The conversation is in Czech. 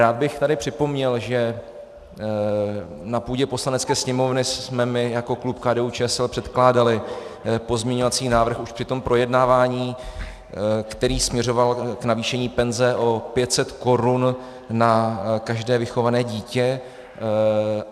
Rád bych tady připomněl, že na půdě Poslanecké sněmovny jsme my jako klub KDU-ČSL předkládali pozměňovací návrh už při tom projednávání, který směřoval k navýšení penze o 500 korun na každé vychované dítě.